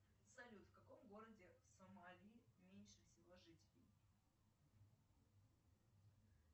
салют в каком городе сомали меньше всего жителей